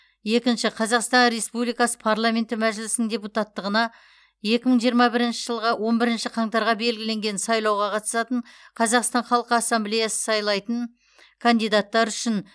қазақстан республикасы парламенті мәжілісінің депутаттығына екі мың жиырма бірінші жылғы он бірінші қаңтарға белгіленген сайлауға қатысатын қазақстан халқы ассамблеясы сайлайтын кандидаттар үшін